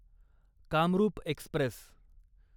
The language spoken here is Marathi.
कामरूप एक्स्प्रेस